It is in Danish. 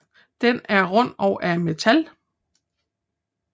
Den er rund og af metal